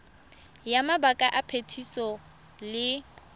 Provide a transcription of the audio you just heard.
ya mabaka a phetiso le